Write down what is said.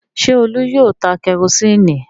Ṣé Olú yóò ta kẹrósíínì?